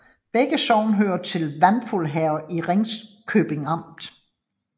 Begge sogne hørte til Vandfuld Herred i Ringkøbing Amt